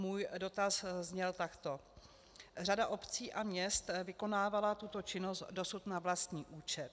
Můj dotaz zněl takto: Řada obcí a měst vykonávala tuto činnost dosud na vlastní účet.